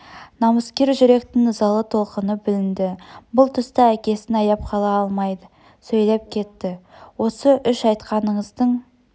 намыскер жүректің ызалы толқыны білінді бұл тұста әкесін аяп қала алмайды сөйлеп кетті осы үш айтқаныңыздың